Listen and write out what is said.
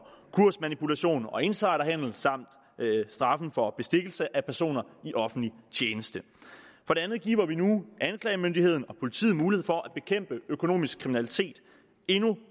kursmanipulation og insiderhandel samt straffen for bestikkelse af personer i offentlig tjeneste for det andet giver vi nu anklagemyndigheden og politiet mulighed for at bekæmpe økonomisk kriminalitet endnu